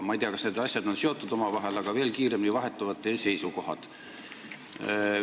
Ma ei tea, kas need asjad on omavahel seotud, aga veel kiiremini vahetuvad teie seisukohad.